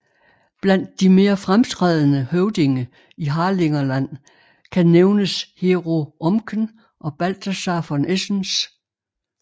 Blandt de mere fremtrædende høvdinge i Harlingerland kan nævnes Hero Omken og Balthasar von Esens